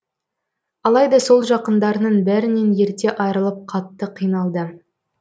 алайда сол жақындарының бәрінен ерте айырылып қатты қиналды